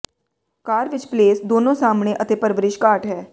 ਕਾਰ ਵਿੱਚ ਪਲੇਸ ਦੋਨੋ ਸਾਹਮਣੇ ਅਤੇ ਪਰਵਰਿਸ਼ ਘਾਟ ਹੈ